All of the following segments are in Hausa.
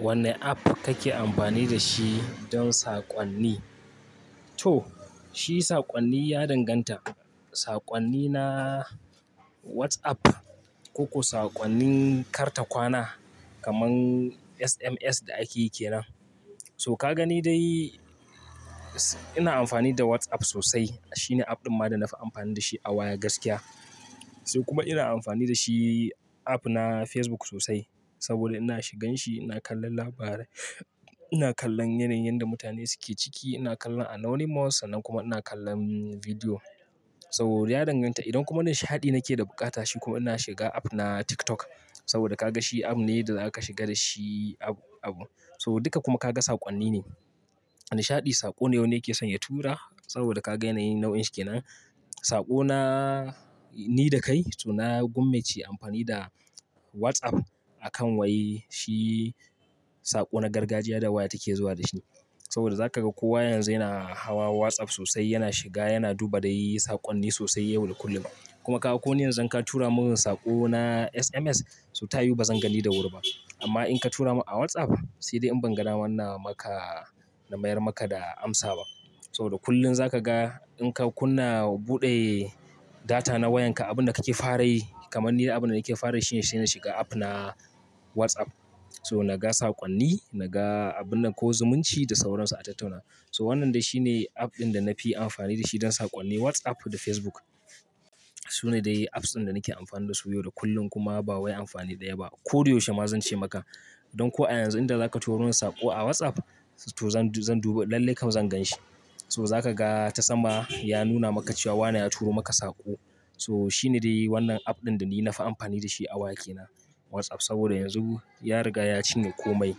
Wanne app kake amfani da shi don sakonni? To, shi sakonni ya danganta. Sakonni na WhatsApp ko ko sakonni kartakwana kamar SMS da ake yi kenan. So ka gani dai, ina amfani da WhatsApp sosai. Shi ne app ɗin ma da na fi amfani da shi a waya gaskiya. Sai kuma ina amfani da shi app na Facebook sosai. Saboda ina shigan shi, ina kallon labarai, ina kallon yanayin da mutane suke ciki, ina kallon anonymous, sannan kuma ina kallon bidiyo. Saboda ya danganta. Idan kuma nishaɗi nake da buƙata, shi kuma ina shiga app na TikTok. Saboda ka ga shi app ne da zaka shiga da shi abu abu. So duka kuma ka ga sakonni ne. Nishaɗi, saƙo ne wanda ya ke son ya tura saboda ka gani nau'in shi kenan. Saƙo na, ni da kai so na gwammaice amfani da WhatsApp a kan wai shi saƙo na gargajiya da waya take zuwa da shi. Saboda za ka ga kowa yanzu yana hawa WhatsApp sosai, yana shiga, yana duba dai sakonni sosai yau da kullum. Kuma ka ga ko ne yanzu ka tura mun saƙo na SMS, so ta yiwu bazan gani da wuri ba. Amma in ka tura mun a WhatsApp, sai dai in ban ga namaka na mayar maka da amsa ba. Saboda kullum za ka ga in ka kunna buɗe data na wayan ka, abun da kake fara yi kamar ni abun da nake fara yi shi ne, shine shiga app na WhatsApp. So naga sakonni, naga abun nan ko zumunci da sauransa a tattauna. So wannan dai shi ne app ɗin da na fi amfani da shi don sakonni. WhatsApp da Facebook. Su ne dai apps ɗin da nake amfani da su yau da kullum kuma ba wai amfani ɗaya ba. Ko dai yaushe ma zan ce maka, don ko a yanzu inda za ka turo min saƙo a WhatsApp, to zan, zan duba lallai kam zan gan shi. So za ka ga ta sama ya nuna maka cewa wane ya turo maka saƙo. So shi ne dai wannan app ɗin da ni na fi amfani da shi a waya ke na, WhatsApp. Saboda yanzu ya riga ya cinye komai.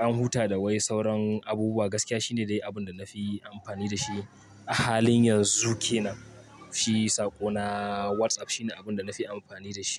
An huta da wai sauran abubuwa. Gaskiya shi ne dai abun da na fi amfani da shi a halin yanzu ke nan. Shi saƙo na WhatsApp shi ne abun da na fi amfani da shi.